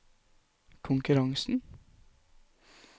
konkurransen